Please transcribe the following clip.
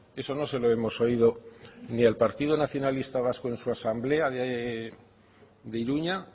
eso no se lo hemos oído ni al partido nacionalista vasco en su asamblea de iruña